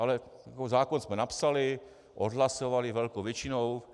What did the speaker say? Ale zákon jsme napsali, odhlasovali velkou většinou.